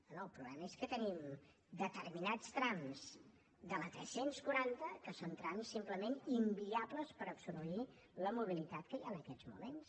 bé el problema és que tenim determinats trams de la tres cents i quaranta que són trams simplement inviables per absorbir la mobilitat que hi ha en aquests moments